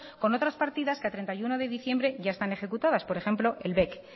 con otras partidas que a treinta y uno de diciembre ya están ejecutadas por ejemplo el bec